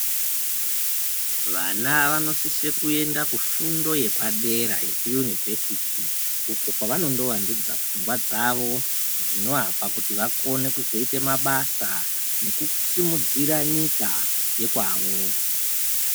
Vana vano sise kuenda kufundo yapa dera yeku yunivhesiti uku kwava ndo wandudza pfungwa dzavo zvinovapa kuti vakone kuzo ite ma basa neku simudzira nyika yekwavo .